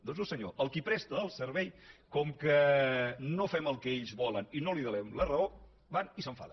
doncs no senyor el qui presta el servei com que no fem el que ells volen i no li donem la raó va i s’enfada